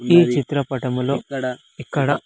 ఈ చిత్రపటంలో ఇక్కడ ఇక్కడ.